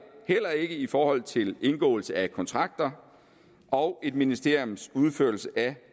heller ikke i forhold til indgåelse af kontrakter og et ministeriums udførelse af